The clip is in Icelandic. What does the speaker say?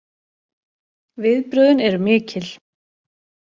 Viðbrögðin eru mikil